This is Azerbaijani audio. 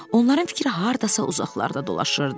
Onların fikri hardasa uzaqlarda dolaşırdı.